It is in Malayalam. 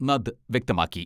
നദ് വ്യക്തമാക്കി.